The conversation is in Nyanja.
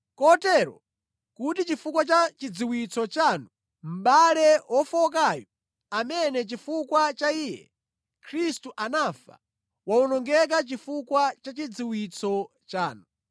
Kotero kuti chifukwa cha chidziwitso chanu mʼbale wofowokayu amene chifukwa cha iye, Khristu anafa, wawonongeka chifukwa cha chidziwitso chanu.